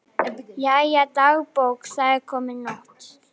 Jæja, dagbók, það er komin nótt.